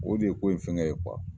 O de ye ko in fɛngɛ ye kuwa